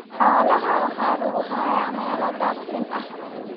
Xoolaha waxa lagu hayaa meelo daaqsin ah.